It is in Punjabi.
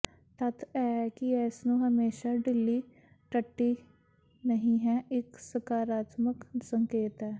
ਤੱਥ ਇਹ ਹੈ ਕਿ ਇਸ ਨੂੰ ਹਮੇਸ਼ਾ ਢਿੱਲੀ ਟੱਟੀ ਨਹੀ ਹੈ ਇੱਕ ਸਕਾਰਾਤਮਕ ਸੰਕੇਤ ਹੈ